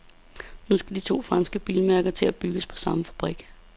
Nu skal de to franske bilmærker til at bygges på samme fabrik.